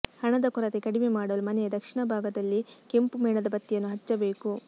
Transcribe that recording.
ಹಣದ ಕೊರತೆ ಕಡಿಮೆ ಮಾಡಲು ಮನೆಯ ದಕ್ಷಿಣ ಭಾಗದಲ್ಲಿ ಕೆಂಪು ಮೇಣದ ಬತ್ತಿಯನ್ನು ಹಚ್ಚಬೇಕು